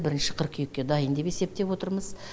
бірінші қыркүйекке дайын деп есептеп отырмыз